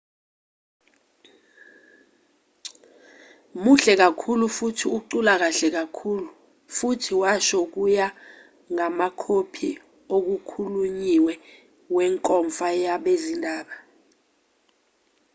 muhle kakhulu futhi ucula kahle kakhulu futhi washo kuya ngamakhophi okukhulunyiwe wenkomfa yabezindaba